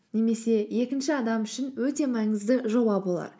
немесе екінші адам үшін өте маңызды жоба болар